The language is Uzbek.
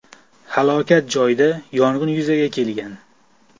Halokat joyida yong‘in yuzaga kelgan.